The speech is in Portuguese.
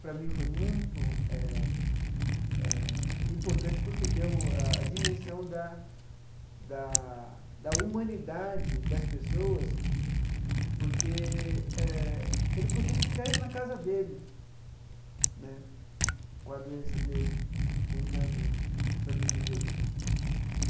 Para mim, foi muito eh eh importante, porque deu a a dimensão da da da humanidade das pessoas, porque eh ele podia ficar aí na casa dele né, com a doença dele, tentando sobreviver.